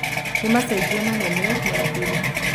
Nĩ macejio manene ma thiri